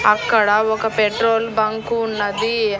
అక్కడ ఒక petrol bunk ఉన్నది.